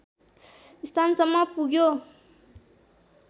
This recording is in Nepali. स्थानसम्म पुग्यो